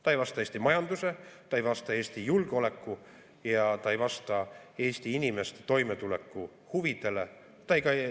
Ta ei vasta Eesti majanduse, ta ei vasta Eesti julgeoleku ja ta ei vasta Eesti inimeste toimetuleku huvidele.